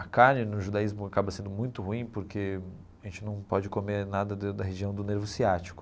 A carne no judaísmo acaba sendo muito ruim porque a gente não pode comer nada da da região do nervo ciático.